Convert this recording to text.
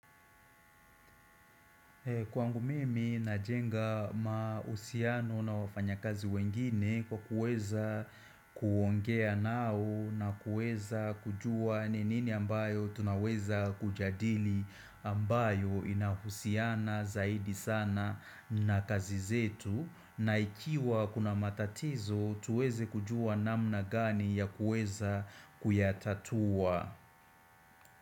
Kwangu mimi najenga mahusiano na wafanyakazi wengine kwa kuweza kuongea nao na kuweza kujua ni nini ambayo tunaweza kujadili ambayo inahusiana zaidi sana na kazi zetu na ikiwa kuna matatizo tuweze kujua namna gani ya kuweza kuyatatua.